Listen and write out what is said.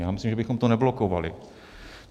Já myslím, že bychom to neblokovali.